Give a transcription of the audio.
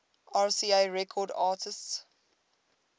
rca records artists